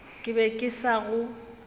ke be ke sa go